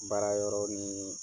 Baara yɔrɔ ni